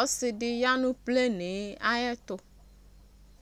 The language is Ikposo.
Ɔsi di ya nʋ pleni yɛ ayɛtʋ